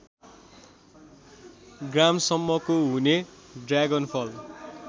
ग्रामसम्मको हुने ड्रागनफल